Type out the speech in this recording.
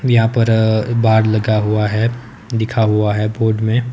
यहां पर अ बाढ़ लगा हुआ है दिखा हुआ है बोर्ड में--